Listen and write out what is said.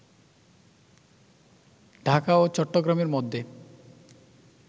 ঢাকা ও চট্টগ্রামের মধ্যে